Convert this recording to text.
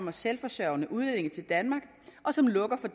og selvforsørgende udlændinge til danmark og som lukker